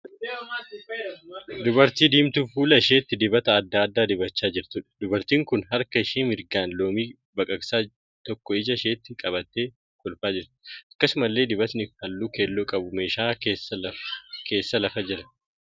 Dubartii diimtuu fuula isheetti dibata adda addaa dibachaa jirtuudha. Dubartiin kun harka ishee mirgaan loomii baqaqsaa tokko ija isheetti qabattee kolfaa jirti. Akkasumallee dibatni halluu keelloo qabu meeshaa keessa lafa jira.